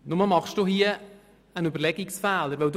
Nur machen Sie hier einen Überlegungsfehler.